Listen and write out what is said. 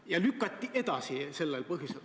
Need lükati edasi sellel põhjusel.